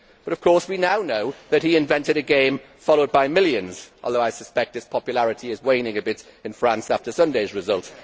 But now, of course, we know that he invented a game followed by millions, although I suspect its popularity is waning a bit in France after Sunday's result.